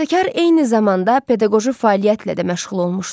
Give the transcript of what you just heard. Bəstəkar eyni zamanda pedaqoji fəaliyyətlə də məşğul olmuşdu.